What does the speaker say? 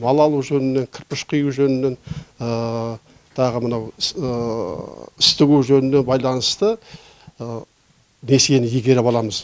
мал алу жөнінен кірпіш құю жөнінен тағы мынау іс тігу жөніне байланысты несиені игеріп аламыз